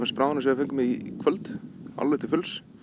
bráðina sem við fengum í kvöld alveg til fulls